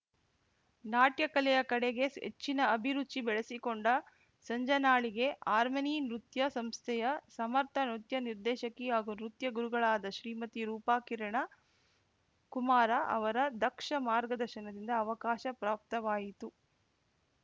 ನಾಟ್ಯ ಕಲೆಯ ಕಡೆಗೆ ಹೆಚ್ಚಿನ ಅಭಿರುಚಿ ಬೆಳೆಸಿಕೊಂಡ ಸಂಜನಾಳಿಗೆ ಹಾರ್ಮನಿ ನೃತ್ಯ ಸಂಸ್ಥೆಯ ಸಮರ್ಥ ನೃತ್ಯ ನಿರ್ದೇಶಕಿ ಹಾಗು ನೃತ್ಯ ಗುರುಗಳಾದ ಶ್ರೀಮತಿ ರೂಪಾ ಕಿರಣ ಕುಮಾರ ಅವರ ದಕ್ಷ ಮಾರ್ಗದರ್ಶನದಿಂದ ಅವಕಾಶ ಪ್ರಾಪ್ತವಾಯಿತು